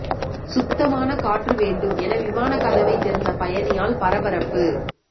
சுத்தமான காற்று வேண்டும் என விமான கதவை திறந்த பயணியால் பரபரப்பு